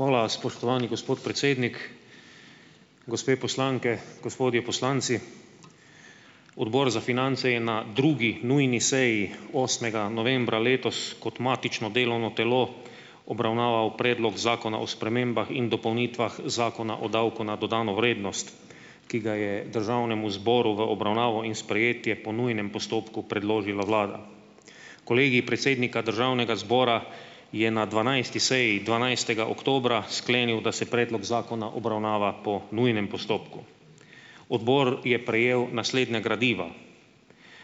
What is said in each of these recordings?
Hvala, spoštovani gospod predsednik. Gospe poslanke, gospodje poslanci. Odbor za finance je na drugi nujni seji, osmega novembra letos, kot matično delovno telo obravnaval predlog zakona o spremembah in dopolnitvah Zakona o davku na dodano vrednost, ki ga je državnemu zboru v obravnavo in sprejetje po nujnem postopku predložila vlada. Kolegij predsednika državnega zbora je na dvanajsti seji dvanajstega oktobra sklenil, da se predlog zakona obravnava po nujnem postopku. Odbor je prejel naslednja gradiva: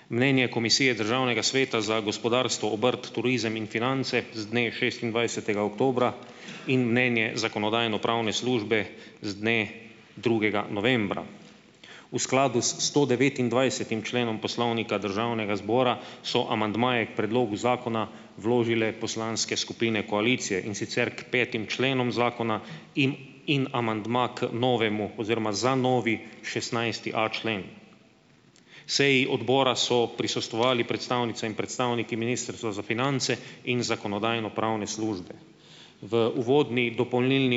mnenje Komisije Državnega sveta za gospodarstvo, obrt, turizem in finance z dne šestindvajsetega oktobra in mnenje zakonodajno-pravne službe z dne drugega novembra. V skladu s stodevetindvajsetim členom Poslovnika Državnega zbora so amandmaji k predlogu zakona vložile poslanske skupine koalicije, in sicer k petim členom zakona in in amandma k novemu oziroma za novi šestnajsti a člen. Seji odbora so prisostvovali predstavnice in predstavniki ministrstva za finance in zakonodajno-pravne službe. V uvodni dopolnilni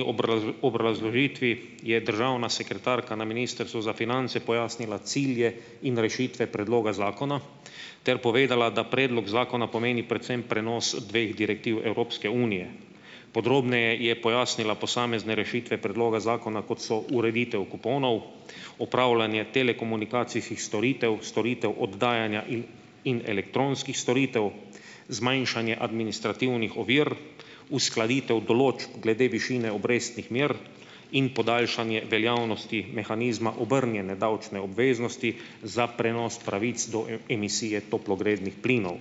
obrazložitvi je državna sekretarka na ministrstvu za finance pojasnila cilje in rešitve predloga zakona ter povedala, da predlog zakona pomeni predvsem prenos dveh direktiv Evropske unije. Podrobneje je pojasnila posamezne rešitve predloga zakona, kot so ureditev kuponov, opravljanje telekomunikacijskih storitev, storitev oddajanja in in elektronskih storitev, zmanjšanje administrativnih ovir, uskladitev določb glede višine obrestnih mer in podaljšanje veljavnosti mehanizma obrnjene davčne obveznosti za prenos pravic do emisije toplogrednih plinov.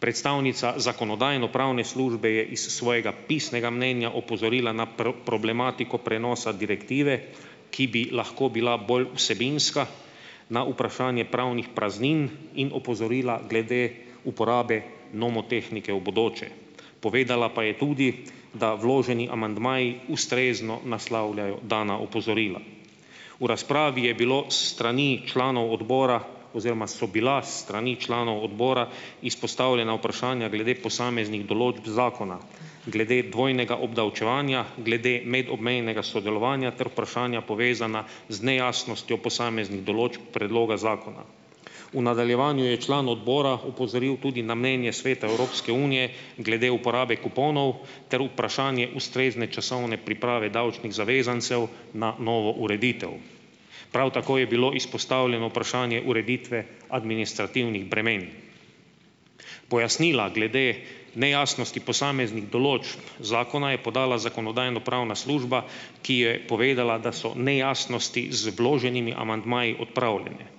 Predstavnica zakonodajno-pravne službe je iz svojega pisnega mnenja opozorila na problematiko prenosa direktive, ki bi lahko bila bolj vsebinska, na vprašanje pravnih praznin in opozorila glede uporabe nomotehnike v bodoče. Povedala pa je tudi, da vloženi amandmaji ustrezno naslavljajo dana opozorila. V razpravi je bilo s strani članov odbora oziroma so bila s strani članov odbora izpostavljena vprašanja glede posameznih določb zakona, glede dvojnega obdavčevanja, glede medobmejnega sodelovanja ter vprašanja, povezana z nejasnostjo posameznih določb predloga zakona. V nadaljevanju je član odbora opozoril tudi na mnenje Sveta Evropske unije glede uporabe kuponov ter vprašanje ustrezne časovne priprave davčnih zavezancev na novo ureditev. Prav tako je bilo izpostavljeno vprašanje ureditve administrativnih bremen. Pojasnila glede nejasnosti posameznih določb zakona je podala zakonodajno-pravna služba, ki je povedala, da so nejasnosti z vloženimi amandmaji odpravljene.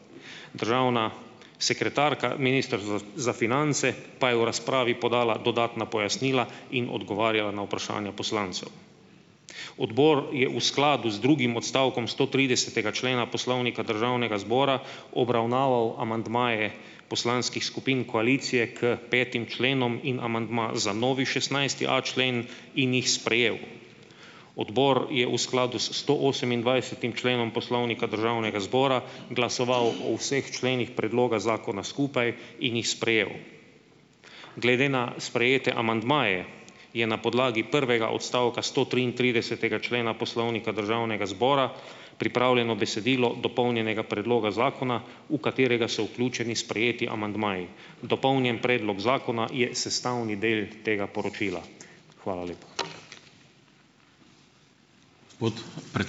Državna sekretarka, ministrstvo za finance, pa je v razpravi podala dodatna pojasnila in odgovarjala na vprašanja poslancev. Odbor je v skladu z drugim odstavkom stotridesetega člena Poslovnika Državnega zbora obravnaval amandmaje poslanskih skupin koalicije k petim členom in amandma za novi šestnajsti a člen in jih sprejel. Odbor je v skladu s stoosemindvajsetim členom Poslovnika Državnega zbora glasoval o vseh členih predloga zakona skupaj in jih sprejel. Glede na sprejete amandmaje, je na podlagi prvega odstavka stotriintridesetega člena Poslovnika Državnega zbora pripravljeno besedilo dopolnjenega predloga zakona, v katerega so vključeni sprejeti amandmaji. Dopolnjen predlog zakona je sestavni del tega poročila. Hvala lepa.